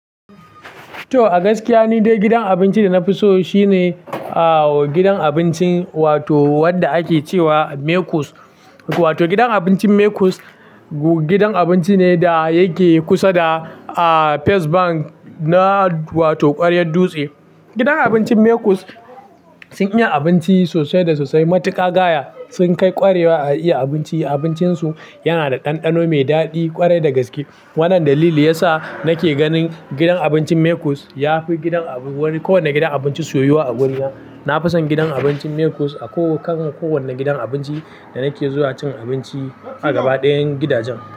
To a gaskiya ni dai gidan abinci da na fi so shine gidan abincin wato wanda ake cewa Mekus. Wato gidan abincin Mekus gidan abinci ne da yake kusa da a First Bank na wato ƙwaryar Dutse. Gidan abincin Mekus sun iya abinci sosai da sosai, matuƙa gaya. Sun kai ƙwarewa a iya abinci. Abincinsu yana da ɗanɗano mai daɗi ƙwarai da gaske. Wannan dalili ya sa nake ganin gidan abincin Mekus ya fi gidan wani kowane gidan abinci soyuwa a guriya. Na fi son gidan abincin Mekus a ko kan kowane gidan abinci da nake zuwa cin abinci a gaba ɗayan gidajen.